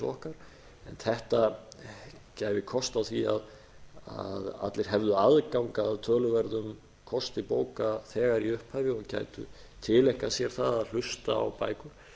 okkar en þetta gæfi kost á því að allir hefðu aðgang að töluverðum kosti bóka þegar í upphafi og gætu tileinkað sér það að hlusta á bækur